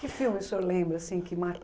Que filme o senhor lembra, assim, que